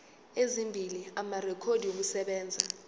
ezimbili amarekhodi okusebenza